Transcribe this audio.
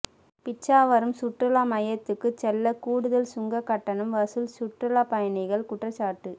பிச்சாரவம் சுற்றுலா மையத்துக்கு செல்ல கூடுதல் சுங்க கட்டணம் வசூல் சுற்றுலா பயணிகள் குற்றச்சாட்டு